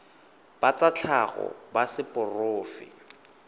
ba tsa tlhago ba seporofe